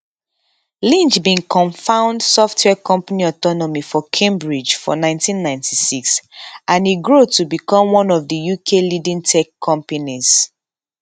lynch bin cofound software company autonomy for cambridge for 1996 and e grow to become one of di uk leading tech companies